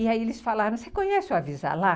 E aí eles falaram, você conhece o Avisalá?